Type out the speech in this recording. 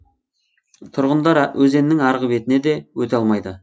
тұрғындар өзеннің арғы бетіне де өте алмайды